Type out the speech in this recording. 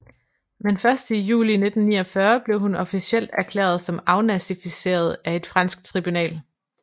Men først i juli 1949 blev hun officielt erklæret som afnazifiseret af et fransk tribunal